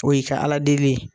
O y'i ka Ala deli ye.